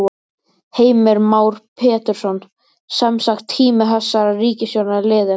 Heimir Már Pétursson: Semsagt tími þessarar ríkisstjórnar er liðinn?